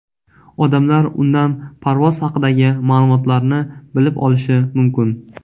Odamlar undan parvoz haqidagi ma’lumotlarni bilib olishi mumkin.